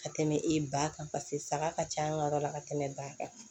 Ka tɛmɛ e ba kan paseke saga ka ca an ka yɔrɔ la ka tɛmɛ ba kan